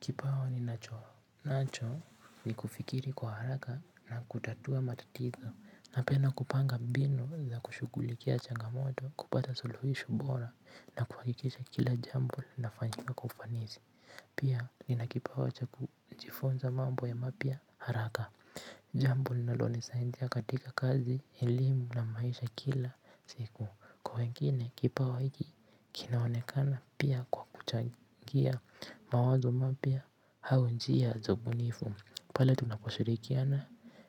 Kipawa ninacho nacho ni kufikiri kwa haraka na kutatua matatizo napenda kupanga mbinu za kushughulikia changamoto kupata suluhisho bora na kuhakikisha kila jambo linafanyika kwa ufanisi. Pia nina kipawa cha kujifunza mambo ya mapya haraka. Jambo linalonisaidia katika kazi, elimu na maisha kila siku. Kwa wengine kipawa hiki kinaonekana pia kwa kuchangia mawazo mapya au njia za ubunifu. Pale tunaposhirikiana